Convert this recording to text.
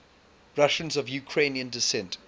russians of ukrainian descent